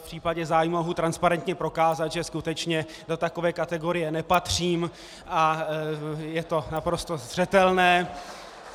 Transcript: V případě zájmu mohu transparentně prokázat, že skutečně do takové kategorie nepatřím a je to naprosto zřetelné.